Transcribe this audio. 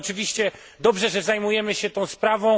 Oczywiście dobrze, że zajmujemy się tą sprawą.